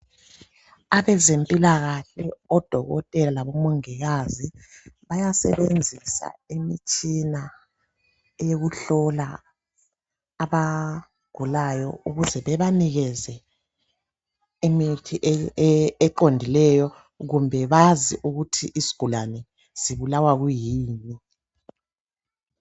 Abezempilakahle odokotela labomongikazi bayasebenzisa imitshina eyokuhlola abagulayo ukuze bebanike imithi eqondileyo kumbe bazi ukuthi isigulane sibulawa kuyini.